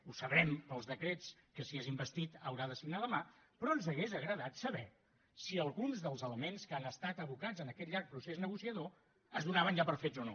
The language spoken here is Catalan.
ho sabrem pels decrets que si és investit haurà de signar demà però ens hauria agradat saber si alguns dels elements que han estat abocats en aquest llarg procés negociador es donaven ja per fets o no